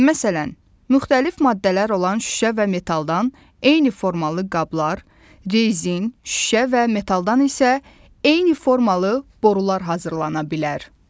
Məsələn, müxtəlif maddələr olan şüşə və metaldan eyni formalı qablar, rezin, şüşə və metaldan isə eyni formalı borular hazırlana bilər.